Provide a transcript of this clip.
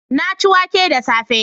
Na ci wake da safe